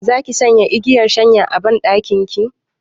Zaki sanya igiyar shanya a banɗakin ki?